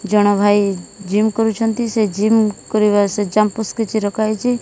ଜଣ ଭାଇ ଜିମ କରୁଛନ୍ତି ସେ ଜିମ କରିବା ସେ କିଛି ରଖା ହେଇଚି ।